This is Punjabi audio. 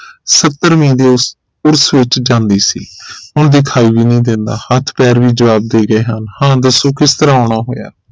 ਸੱਤਰਵੀ ਦੀ ਉਸ ਉਰਸ ਵਿਚ ਜਾਂਦੀ ਸੀ ਹੁਣ ਦਿਖਾਈ ਵੀ ਨਹੀਂ ਦਿੰਦਾ ਹੱਥ ਪੈਰ ਵੀ ਜਵਾਬ ਦੇ ਗਏ ਹਨ ਹਾਂ ਦਸੋ ਕਿਸ ਤਰਾਹ ਆਉਣਾ ਹੋਇਆ